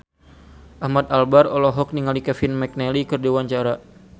Ahmad Albar olohok ningali Kevin McNally keur diwawancara